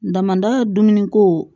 Damada dumuniko